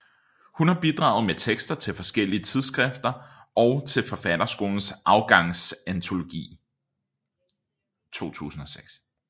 Hun har bidraget med tekster til forskellige tidsskrifter og til Forfatterskolens Afgangsantologi 2006